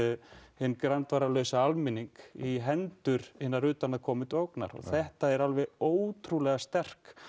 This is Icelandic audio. hinn almenning í hendur hinna utanaðkonandi ógnar og þetta er alveg ótrúlega sterk